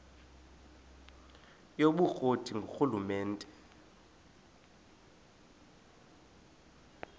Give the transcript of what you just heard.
yobukro ti ngurhulumente